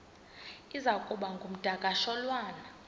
iza kuba ngumdakasholwana